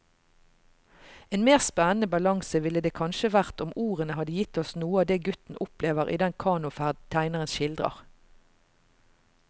En mer spennende balanse ville det kanskje vært om ordene hadde gitt oss noe av det gutten opplever i den kanoferd tegneren skildrer.